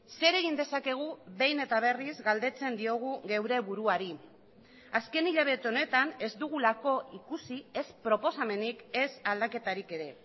zer egin dezakegu behin eta berriz galdetzen diogu geure buruari azken hilabete honetan ez dugulako ikusi ez proposamenik ez aldaketarik ere